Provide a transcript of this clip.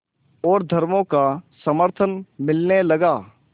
और धर्मों का समर्थन मिलने लगा